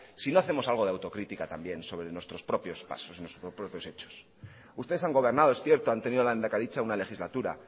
si no hacemos algo de autocrítica también sobre nuestros propios pasos nuestros propios hechos ustedes han gobernando es cierto han tenido la lehendakaritza una legislatura